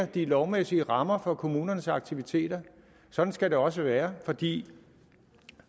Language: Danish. de lovmæssige rammer for kommunernes aktiviteter sådan skal det også være fordi